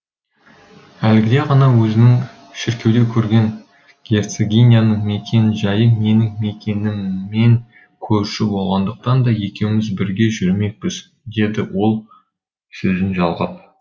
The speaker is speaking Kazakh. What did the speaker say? әлгіде ғана өзіңіз шіркеуде көрген герцогиняның мекен жайы менің мекеніммен көрші болғандықтан да екеуміз бірге жүрмекпіз деді ол сөзін жалғап